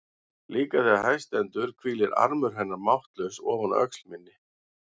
Líka þegar hæst stendur hvílir armur hennar máttlaus ofan á öxl minni.